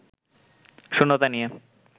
শূন্যতা নিয়ে